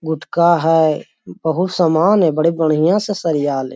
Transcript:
गुटका है बहुत समान है बड़ी बढ़ियां से सरयाल है।